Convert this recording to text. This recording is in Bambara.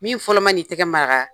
Min fɔlɔ ma n'i tɛgɛ maraga.